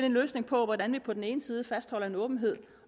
en løsning på hvordan vi på den ene side fastholder en åbenhed